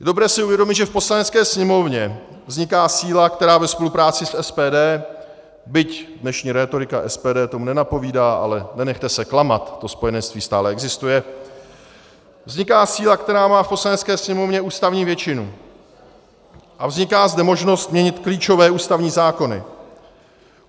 Je dobré si uvědomit, že v Poslanecké sněmovně vzniká síla, která ve spolupráci s SPD, byť dnešní rétorika SPD tomu nenapovídá, ale nenechte se klamat, to spojenectví stále existuje, vzniká síla, která má v Poslanecké sněmovně ústavní většinu, a vzniká zde možnost měnit klíčové ústavní zákony.